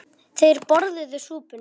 Þeir borðuðu súpuna.